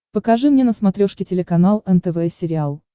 покажи мне на смотрешке телеканал нтв сериал